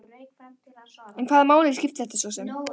En hvaða máli skipti þetta svo sem?